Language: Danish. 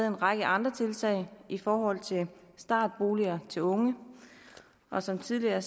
en række andre tiltag i forhold til startboliger til unge og som tidligere